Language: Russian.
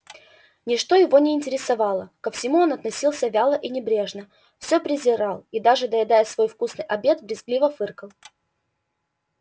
ничто его не интересовало ко всему он относился вяло и небрежно всё презирал и даже поедая свой вкусный обед брезгливо фыркал